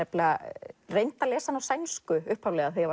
reyndi að lesa hann á sænsku upphaflega þegar